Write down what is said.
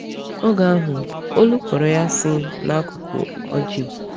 Oge ahụ, olu kpọrọ ya si n’akụkụ ọjị.